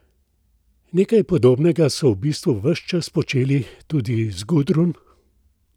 Nekaj podobnega so v bistvu ves čas počeli tudi z Gudrun?